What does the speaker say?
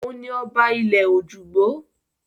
Òun ni ọba ilẹ̀-ojúgbó.